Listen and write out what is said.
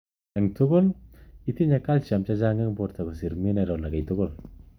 Ing tugul:Itinye Calcium chechang ing porto kosir mineral akei tukul.